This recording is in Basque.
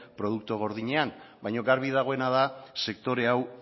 produktu gordinean baina garbi dagoena da sektore hau